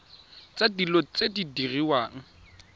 tsa dilo tse di diriwang